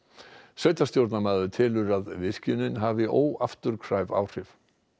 sveitarstjórnarmaður telur að virkjunin hafi óafturkræf áhrif